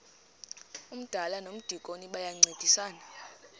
umdala nomdikoni bayancedisana